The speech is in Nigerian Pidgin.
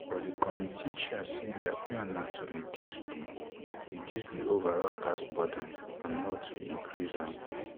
but di committee chair say dia plan na to um reduce di reduce di overall tax burden and not to increase am